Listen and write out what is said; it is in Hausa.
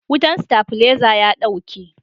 wutan stabileza ya dauke